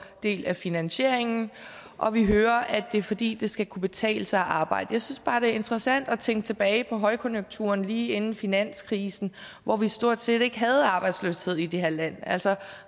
del af finansieringen og vi hører at det er fordi det skal kunne betale sig at arbejde jeg synes bare det er interessant at tænke tilbage på højkonjunkturen lige inden finanskrisen hvor vi stort set ikke havde arbejdsløshed i det her land altså